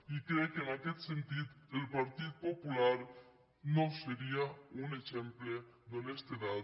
i crec que en aquest sentit el partit popular no seria un exemple d’honestedat